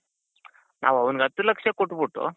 ನಾವ್ ಅವನಿಗೆ ಹತ್ತು ಲಕ್ಷ ಕೊಟ್ಬಿಟ್ಟು.